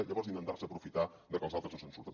llavors intentar se aprofitar de que els altres no se’n surten